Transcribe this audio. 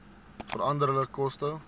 veranderlike koste